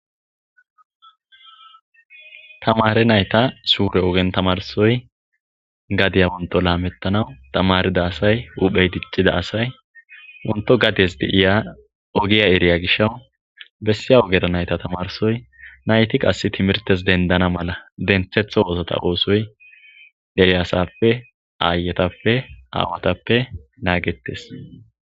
Tamare nayta sure ogeni tamarisoyi gadiya wonto lametanawu ,tamarida asayi , hupheyi dicida asayi , wonto gades de'iya ogiya eriya gishawu besiya ogera nayta tanrisoy, nayti qase timrtes denidana mala denthetho oosota oosoyi deretethappe , aayetappe , aawatappe nanigetesi.